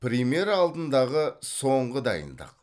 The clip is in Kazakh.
премьера алдындағы соңғы дайындық